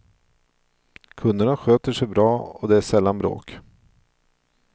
Kunderna sköter sig bra och det är sällan bråk.